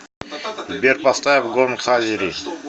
сбер поставь гон хазири